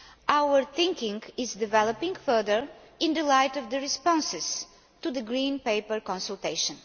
Our thinking is developing further in the light of the responses to the green paper consultation.